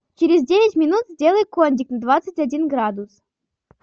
через девять минут сделай кондик на двадцать один градус